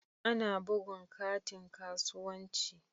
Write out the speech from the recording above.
Ana bugun katin kasuwanci.